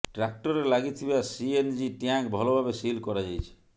ଟ୍ରାକ୍ଟରରେ ଲାଗିଥିବା CNG tank ଭଲ ଭାବେ ସିଲ୍ କରାଯାଇଛି